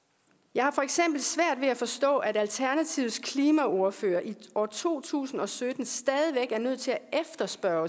jeg har for eksempel svært ved at forstå at alternativets klimaordfører i år to tusind og sytten stadig væk er nødt til at efterspørge